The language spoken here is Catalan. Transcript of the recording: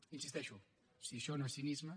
hi insisteixo si això no és cinisme